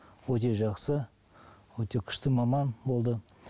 өте жақсы өте күшті маман болды